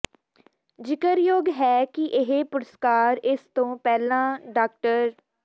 ਜ਼ਿਕਰਯੋਗ ਹੈ ਕਿ ਇਹ ਪੁਰਸਕਾਰ ਇਸ ਤੋਂ ਪਹਿਲਾਂ ਡਾ